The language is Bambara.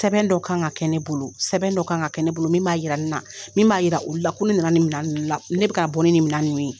Sɛbɛn dɔw kan ka kɛ ne bolo sɛbɛn dɔ kan ka kɛ ne bolo min b'a yira n na min b'a yira olu la ko ne nana nin minɛn ninnu la ne bɛ ka bɔ ni nin minɛn ninnu ye.